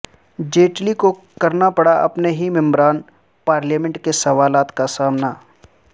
جیٹلی کو کرنا پڑا اپنے ہی ممبران پارلیمنٹ کے سوالات کا سامنا